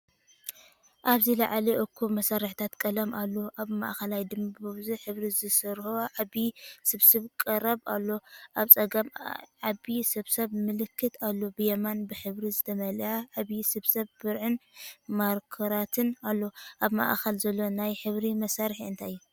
ኣብዚ ላዕሊ እኩብ መሳርሒታት ቀለም ኣሎ። ኣብ ማእከል ድማ ብብዙሕ ሕብሪ ዝተሰርሑ ዓቢ ስብስብ ቅራፍ ኣሎ። ኣብ ጸጋም ዓቢ ስብስብ ምልክታት ኣሎ። ብየማን ብሕብሪ ዝተመልአ ዓቢ ስብስብ ብርዕን ማርከራትን ኣሎ። ኣብ ማእከል ዘሎ ናይ ሕብሪ መሳርሒ እንታይ እዩ?